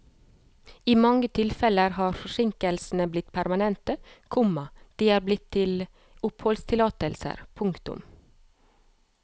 I mange tilfeller har forsinkelsene blitt permanente, komma de er blitt til oppholdstillatelser. punktum